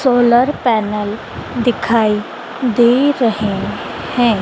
Solar panel दिखाई दे रहे हैं।